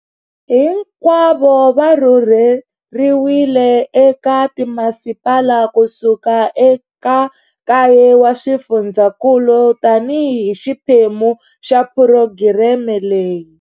Hinkwavo va rhurheriwile eka timasipala ku suka eka kaye wa swifundzankulu tanihi xiphemu xa phurogireme leyi.